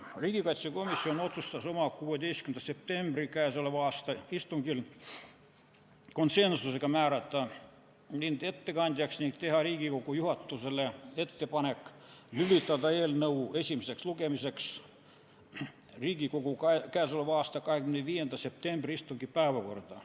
Riigikaitsekomisjon otsustas oma 16. septembri istungil konsensusega määrata mind ettekandjaks ning teha Riigikogu juhatusele ettepaneku lülitada eelnõu esimeseks lugemiseks Riigikogu k.a 25. septembri istungi päevakorda.